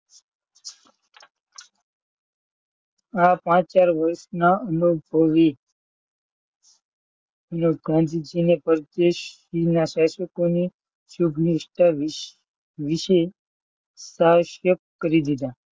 અનુભવી ગાંધીજીને પ્રદેશના શાસકોને વિશે તાશ્યક કરી દીધા.